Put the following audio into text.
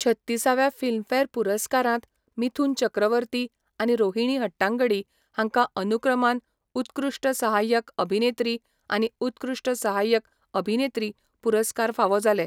छत्तीस व्या फिल्मफेअर पुरस्कारांत मिथुन चक्रवर्ती आनी रोहिणी हट्टांगडी हांकां अनुक्रमान उत्कृश्ट सहाय्यक अभिनेत्री आनी उत्कृश्ट सहाय्यक अभिनेत्री पुरस्कार फावो जाले.